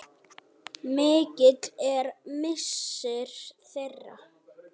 Mikill er missir þeirra.